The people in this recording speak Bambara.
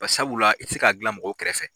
Ba sabula i tɛ se ka a glan mɔgɔw kɛrɛfɛ.